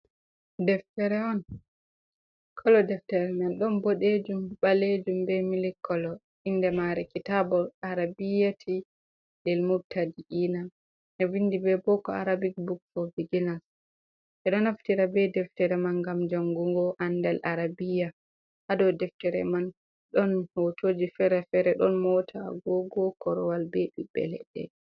Deftere on, kolo deftere man ɗon bodejum, balejum, be mili kolo, inde mare kitabol arabiyati bil mutaa iina, ɓe vindi be boko, arabic buk, for beginner, ɓeɗo naftira be deftere man ngam jangungo ande arabiya, haɗow deftere man ɗon hotoji fere-fere ɗon mota agogo korowal be ɓiɓbe ledɗe.